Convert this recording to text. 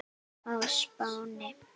á Spáni.